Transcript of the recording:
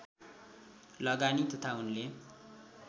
लगानी तथा उनले